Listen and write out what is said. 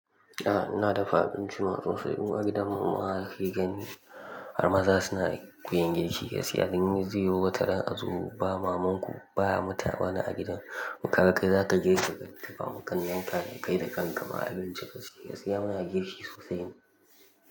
Ah! Ina dafa abinci man sosai. Mu agidan mu ma da kakegani har maza suna koyan girki, gaskiya dan zaiyo wataran a zo ba maman ku ba mutum wani a gidan mu. Kaga kai za ka girkin ka dafawa ƙannan ka da kai da kan ka ma abinci ka siya. Muna girki sosai.